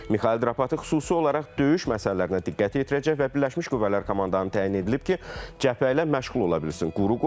Mixail Drapıtı xüsusi olaraq döyüş məsələlərinə diqqət yetirəcək və birləşmiş qüvvələr komandanı təyin edilib ki, cəbhə ilə məşğul ola bilsin.